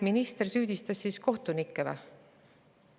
Minister süüdistas siis kohtunikke või?